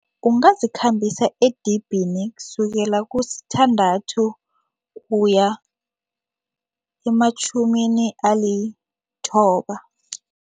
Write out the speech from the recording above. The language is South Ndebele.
Ungazikhambisa edibhini kusukela kusithandathu kuya ematjhumini alithoba.